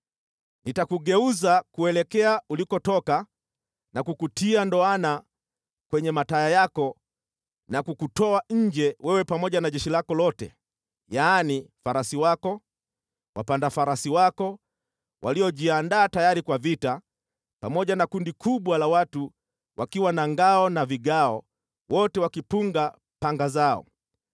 Nitakugeuza kuelekea ulikotoka na kukutia ndoana kwenye mataya yako na kukutoa nje wewe pamoja na jeshi lako lote, yaani, farasi wako, wapanda farasi wako waliojiandaa tayari kwa vita, pamoja na kundi kubwa la wajeuri wakiwa na ngao na vigao, wote wakipunga panga zao.